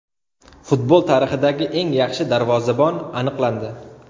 Futbol tarixidagi eng yaxshi darvozabon aniqlandi.